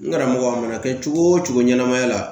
N karamɔgɔ a mana kɛ cogo wo cogo ɲɛnɛmaya la